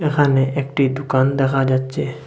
এখানে একটি দুকান দেখা যাচ্ছে।